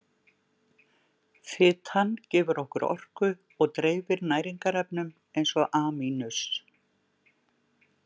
Fitan gefur okkur orku og dreifir næringarefnum eins og A-.